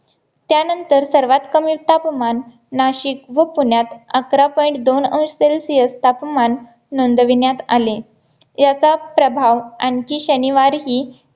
त्यानंतर सर्वात कमी तापमान नाशिक व पुण्यात आखरा point दोन अंश celsius तापमान नोंदविण्यात आले याचा प्रभाव आणखी शनिवारीही